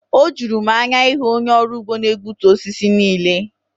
O juru m anya ịhụ onye ọrụ ugbo na-egbutu osisi niile.